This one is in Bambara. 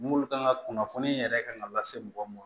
N'olu kan ka kunnafoni yɛrɛ kan ka lase mɔgɔ ma